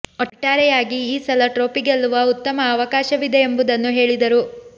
ಒಟ್ಟಾರೆಯಾಗಿ ಈ ಸಲ ಟ್ರೋಫಿ ಗೆಲ್ಲುವ ಉತ್ತಮ ಅವಕಾಶವಿದೆ ಎಂಬುದನ್ನು ಹೇಳಿದರು